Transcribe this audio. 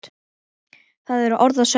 Það eru orð að sönnu!